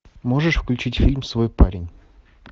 можешь включить фильм свой парень